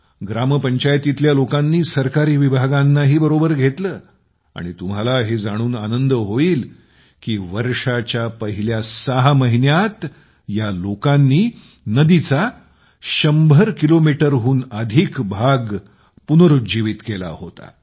ग्रामपंचायतीतल्या लोकांनी सरकारी विभागांनाही बरोबर घेतले आणि तुम्हाला हे जाणून आनंद होईल की वर्षाच्या पहिल्या 6 महिन्यांत या लोकांनी नदीचा 100 किलोमीटरहून अधिक भाग पुनरुज्जीवित केला होता